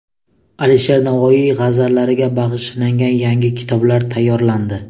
Alisher Navoiy g‘azallariga bag‘ishlangan yangi kitoblar tayyorlandi.